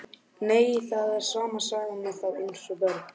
Nei, það er sama sagan með þá eins og börnin.